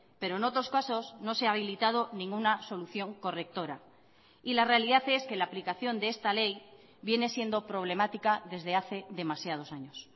pero en otros casos no se ha habilitado ninguna solución correctora y la realidad es que la aplicación de esta ley viene siendo problemática desde hace demasiados años